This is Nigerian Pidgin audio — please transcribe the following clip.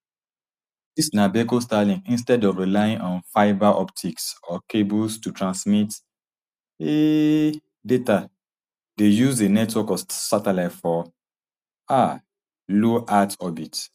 dis na beco starlink instead of relying on fibre optics or cables to transmit um data dey use a network of satellites for um low earth orbit